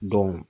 Don